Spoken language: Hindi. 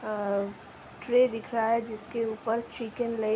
अं-ट्रे दिख रहा है जिसके ऊपर चिकेन ले --